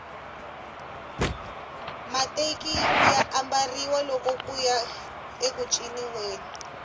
mateki ya ambariwa loko kuya eku ciniweni